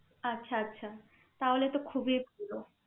আচ্ছা আচ্ছা তাহলে তো খুবই ছিল